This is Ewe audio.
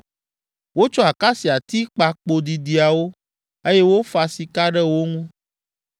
Wotsɔ akasiati kpa kpo didiawo, eye wofa sika ɖe wo ŋu.